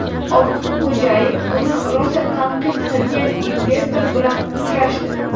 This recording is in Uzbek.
Ortiqxo‘jayev uni rosa tanqid qilgan investor bilan uchrashdi.